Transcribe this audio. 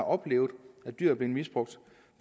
oplevet at dyr er blevet misbrugt